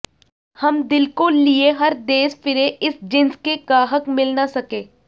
ਹਮ ਦਿਲ ਕੋ ਲੀਏ ਹਰ ਦੇਸ ਫਿਰੇ ਇਸ ਜਿੰਸ ਕੇ ਗਾਹਕ ਮਿਲ ਨ ਸਕੇ